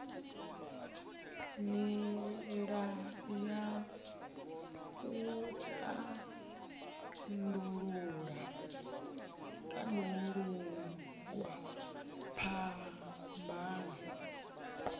nila ya u tandululwa phambano